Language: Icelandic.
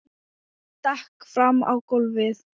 Ég stekk fram á gólfið.